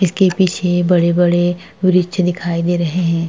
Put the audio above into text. इसके पीछे बड़े-बड़े वृक्ष दिखाई दे रहे हैं।